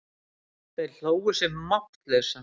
Þeir hlógu sig máttlausa.